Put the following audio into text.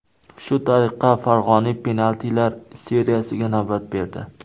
Shu tariqa, Fag‘oniy penaltilar seriyasiga navbat berdi.